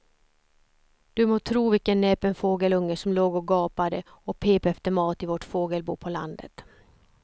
Du må tro vilken näpen fågelunge som låg och gapade och pep efter mat i vårt fågelbo på landet.